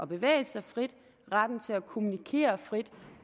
bevæge sig frit og retten til at kommunikere frit